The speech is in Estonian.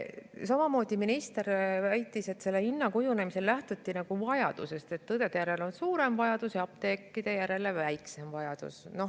Samamoodi väitis minister, et selle kujundamisel lähtuti vajadusest, et õdede järele on suurem vajadus ja apteekrite järele väiksem vajadus.